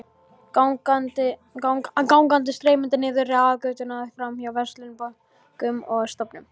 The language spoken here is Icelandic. Gangan streymdi niður aðalgötuna, framhjá verslunum, bönkum og stofnunum.